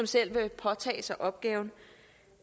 selv vil påtage sig opgaven